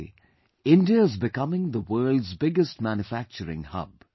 Today India is becoming the world's biggest manufacturing hub